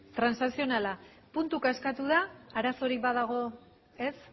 transakzionala puntuka eskatu da arazorik badago ez